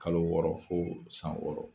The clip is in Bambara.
Kalo wɔɔrɔ fo san wɔɔrɔ